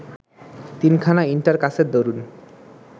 তিনখানা ইন্টার কাসের দরুন